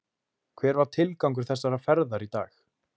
Hver var tilgangur þessarar ferðar í dag?